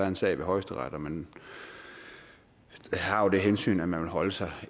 en sag ved højesteret og man har jo det hensyn at man vil holde sig